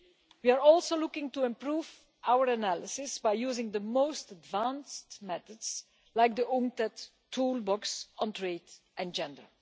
We are also looking to improve our analysis by using the most advanced methods, like the UNCTAD toolbox on trade and gender.